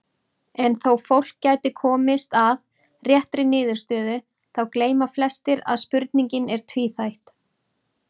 En þó fólk gæti komist að réttri niðurstöðu þá gleyma flestir að spurningin er tvíþætt.